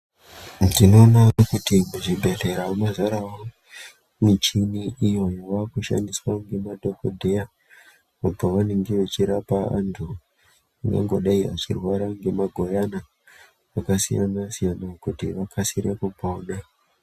Ndinoona kuti kuzvibhedhlera mazarawo michini iyo yavakushandiswa ngemadhodheya pavanenge vechirapa vantu nyangwe dai vachitorwara ngemaguyana akasiyana siyana kuti vakasire kupona.